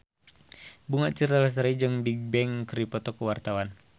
Bunga Citra Lestari jeung Bigbang keur dipoto ku wartawan